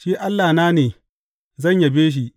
Shi Allahna ne, zan yabe shi.